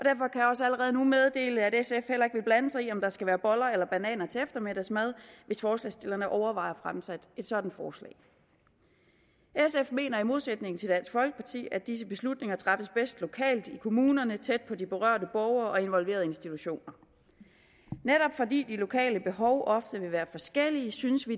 også allerede nu meddele at sf heller ikke vil blande sig i om der skal være boller eller bananer til eftermiddagsmad hvis forslagsstillerne overvejer at fremsætte et sådant forslag sf mener i modsætning til dansk folkeparti at disse beslutninger træffes bedst lokalt i kommunerne tæt på de berørte borgere og involverede institutioner netop fordi de lokale behov ofte vil være forskellige synes vi